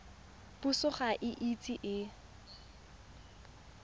puso ga e ise e